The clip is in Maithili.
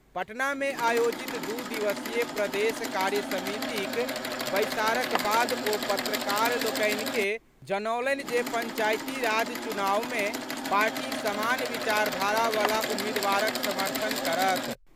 पटना मे आयोजित दू दिवसीय प्रदेश कार्य समितिक बैसारक बाद ओ पत्रकार लोकनि के जनौलनि जे पंचायती राज चुनाव मे पार्टी समान विचारधारा वला उम्मीदवारक समर्थन करत।